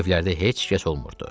Bu evlərdə heç kəs olmurdu.